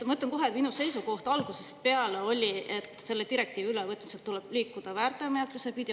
Ma ütlen kohe, et minu seisukoht on algusest peale olnud, et selle direktiivi ülevõtmisel tuleb liikuda nii-öelda väärteomenetlust pidi.